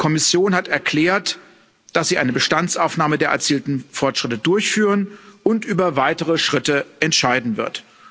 Die Kommission hat erklärt, dass sie eine Bestandsaufnahme der erzielten Fortschritte durchführen und über weitere Schritte entscheiden wird.